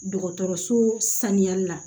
Dɔgɔtɔrɔso saniyali la